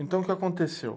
Então, o que aconteceu?